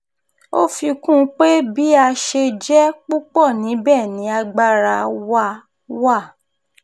ó fi kún un pé bí a ṣe jẹ́ púpọ̀ níbẹ̀ ni agbára wa wà